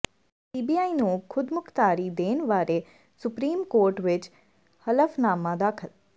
CBI ਨੂੰ ਖੁਦਮੁਖਤਾਰੀ ਦੇਣ ਬਾਰੇ ਸੁਪਰੀਮ ਕੋਰਟ ਵਿੱਚ ਹਲਫ਼ਨਾਮਾ ਦਾਖਲ